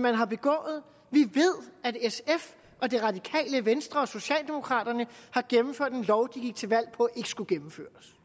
man har begået vi ved at sf og det radikale venstre og socialdemokraterne har gennemført en lov de gik til valg på skulle gennemføres